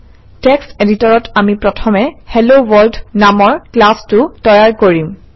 text এডিটৰত আমি প্ৰথমে হেলোৱৰ্ল্ড নামৰ ক্লাছটো তৈয়াৰ কৰিম